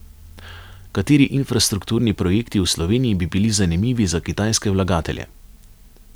Kateri infrastrukturni projekti v Sloveniji bi bili zanimivi za kitajske vlagatelje?